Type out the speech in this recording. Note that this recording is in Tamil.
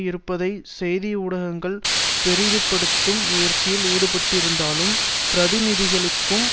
இருப்பதைச் செய்தி ஊடகங்கள் பெரிதுபடுத்தும் முயற்சியில் ஈடுபட்டிருந்தாலும் பிரதிநிதிகளுக்கும்